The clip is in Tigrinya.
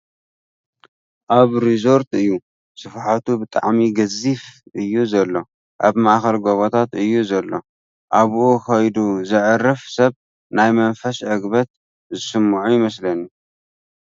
እዚ ሪዞርት እዩ ስፍሓቱ ብጣዕሚ ገዚፍ እዩ ዘሎ ኣብ ማእኸል ጎቦታት እዩ ዘሎ፡ ኣብኡ ኸይዱ ዘዕርፍ ሰብ ናይ መንፈስ ዕግበት ዝስመዖ ይመስለኒ ።